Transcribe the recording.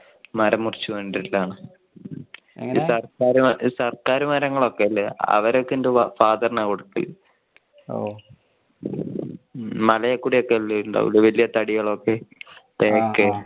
മരം മുറിച്ചു ൽ ആണ്. ഈ സർക്കാർ മര~സർക്കാർ മരങ്ങൾ ഒക്കെ ഇല്ലേ അതൊക്കെ അവരൊക്കെ എന്റെ father ആ കൊടുക്കല്. ഓ മലയില്കൂടെ ഒക്കെ ഉണ്ടാകില്ലേ വലിയ തടികൾ ഒക്കെ തേക്ക്